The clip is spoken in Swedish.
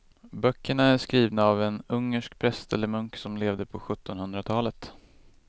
Böckerna är skrivna av en ungersk präst eller munk som levde på sjuttonhundratalet.